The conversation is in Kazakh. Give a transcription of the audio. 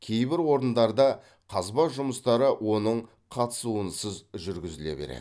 кейбір орындарда қазба жұмыстары оның қатысуынсыз жүргізіле береді